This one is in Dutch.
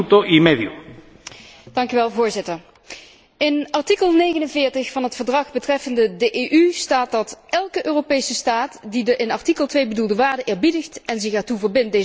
In artikel 49 van het Verdrag betreffende de EU staat dat elke Europese staat die de in artikel 2 bedoelde waarden eerbiedigt en zich ertoe verbindt deze uit te dragen, kan verzoeken lid te worden van de Unie.